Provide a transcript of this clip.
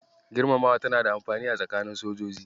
Girmamawa tana da amfani a tsakanin sojoji.